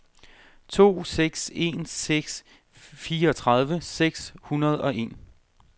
to seks en seks fireogtredive seks hundrede og en